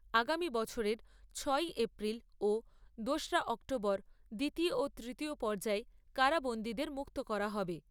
আগামী বছরের ছয়ই এপ্রিল ও দোসরা অক্টোবর দ্বিতীয় ও তৃতীয় পর্যায়ে কারাবন্দীদের মুক্ত করা হবে।